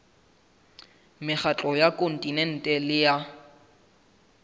mekgatlo ya kontinente le ya